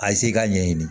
A ye se ka ɲɛɲini